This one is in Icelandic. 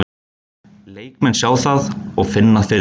Leikmenn sjá það og finna fyrir því.